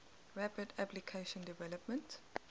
rapid application development